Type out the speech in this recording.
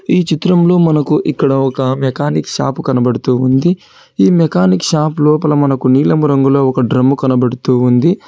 ఈ చిత్రంలో మనకు ఇక్కడ ఒక మెకానిక్ షాపు కనబడుతూ ఉంది ఈ మెకానిక్ షాప్ లోపల మనకు నీలం రంగులో ఒక డ్రమ్ము కనబడుతూ ఉంది.